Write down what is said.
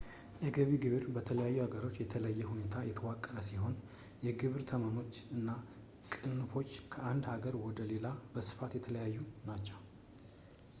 የገቢ ግብር በተለያዩ ሀገሮች በተለየ ሁኔታ የተዋቀረ ሲሆን የግብር ተመኖች እና ቅንፎች ከአንድ አገር ወደ ሌላው በስፋት የተለያዩ ናቸው